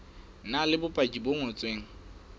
na le bopaki bo ngotsweng